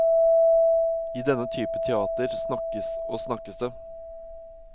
I denne type teater snakkes og snakkes det.